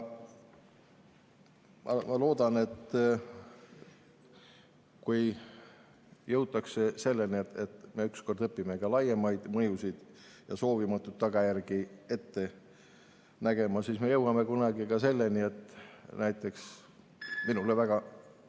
Ma loodan, et kui ükskord jõutakse selleni, et me õpime ka laiemat mõju ja soovimatuid tagajärgi ette nägema, siis jõuame kunagi selleni, et näiteks minule väga ...